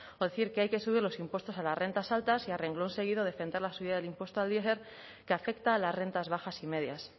o decir que hay que subir los impuestos a las rentas altas y a renglón seguido defender la subida del impuesto al diesel que afecta a las rentas bajas y medias